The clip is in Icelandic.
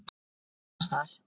Hvar annars staðar!